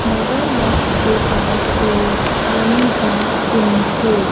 मगरमच्छ के पास एक पानी का कुंड है।